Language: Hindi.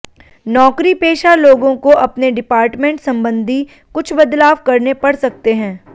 नौकरी पेशा लोगों को अपने डिपार्टमेंट संबंधी कुछ बदलाव करने पड़ सकते हैं